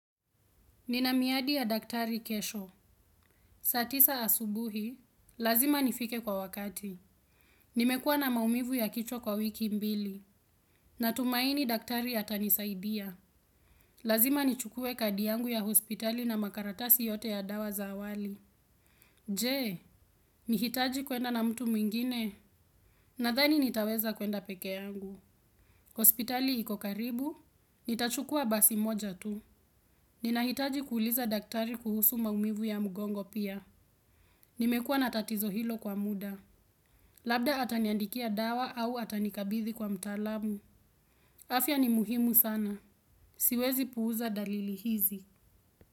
Nina miadi ya daktari kesho. Saa tisa asubuhi, lazima nifike kwa wakati. Nimekuwa na maumivu ya kichwa kwa wiki mbili. Natumaini daktari atanisaidia. Lazima nichukue kadi yangu ya hospitali na makaratasi yote ya dawa za awali. Je, nihitaji kwenda na mtu mwingine? Nadhani nitaweza kwenda pekee yangu. Hospitali iko karibu, nitachukua basi moja tu. Ninahitaji kuuliza daktari kuhusu maumivu ya mgongo pia. Nimekuwa na tatizo hilo kwa muda. Labda ataniandikia dawa au atanikabidhi kwa mtaalamu. Afya ni muhimu sana. Siwezi puuza dalili hizi.